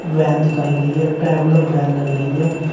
Van दिखाई गई है ट्रैवलर वैन लग रही है।